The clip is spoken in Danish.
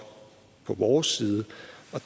på vores side